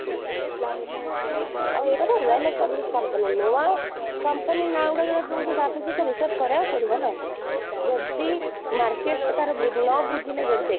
ଆଉ ଏଇଟା ତ well establish company ନୁହେଁ ନୂଆ company ନା ଗୁଡା ସବୁ ଶୁଣୁଛୁ ତାକୁବି ତ research କରିବାକୁ ପଡିବ ନା, ଯଦି market ତାର ଦେଖ